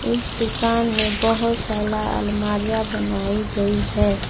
इस दुकान में बहोत साला अलमारियाँ बनाई गई है।